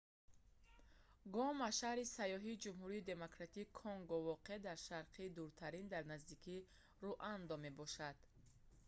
гома шаҳри сайёҳии ҷумҳурии демократии конго воқеъ дар шарқи дуртарин дар наздикии руанда мебошад